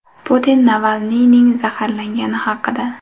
Putin Navalniyning zaharlangani haqida.